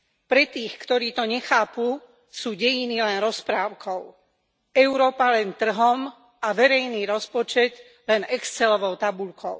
Pre tých, ktorí to nechápu, sú dejiny len rozprávkou, Európa len trhom a verejný rozpočet len excelovou tabuľkou.